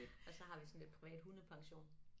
Og så har vi sådan lidt privat hundepension